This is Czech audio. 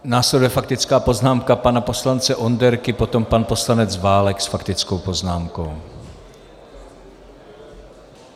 Následuje faktická poznámka pana poslance Onderky, potom pan poslanec Válek s faktickou poznámkou.